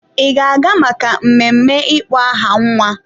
Ị ga-aga maka mmemme ịkpọ aha nwa?